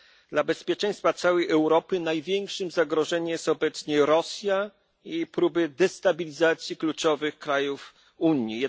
Dla bezpieczeństwa całej Europy największym zagrożeniem jest obecnie Rosja i próby destabilizacji kluczowych krajów Unii.